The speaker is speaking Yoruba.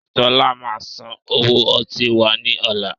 Sọlá máa san owó ọtí wá ní ọ̀la.